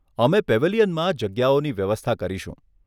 અમે પેવેલિયનમાં જગ્યાઓની વ્યવસ્થા કરીશું.